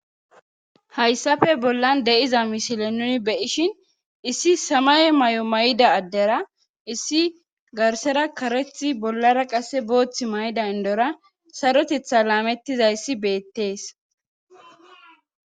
Haysssappe bolan diza misilen nuuni be'ishin issi semaye mayo mayida addera issi garssara kareththi bollara qasse booththi mayida indora sarotetha laametizayssi beetees.